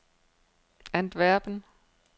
Antwerpen